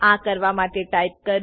આ કરવા માટે ટાઈપ કરો